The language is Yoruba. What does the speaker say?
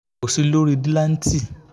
kò sí lórí